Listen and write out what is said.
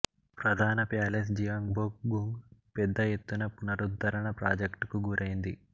ప్రధాన palace Gyeongbokgung పెద్ద ఎత్తున పునరుద్ధరణ ప్రాజెక్టుకు గురైంది